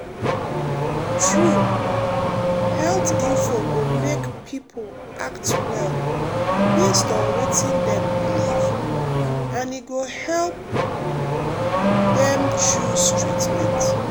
true um health info go make people act well based on wetin dem believe and e go help um dem choose treatment.